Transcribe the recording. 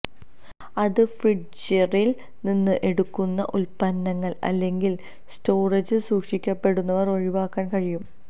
അത് ഫ്രിഡ്ജറിൽ നിന്ന് എടുക്കുന്ന ഉത്പന്നങ്ങൾ അല്ലെങ്കിൽ സ്റ്റോറേജിൽ സൂക്ഷിക്കപ്പെടുന്നവ ഒഴിവാക്കാൻ കഴിയും